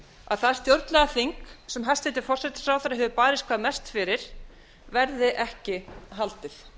að það stjórnlagaþing sem hæstvirtur forsætisráðherra hefur barist hvað mest fyrir verði ekki haldið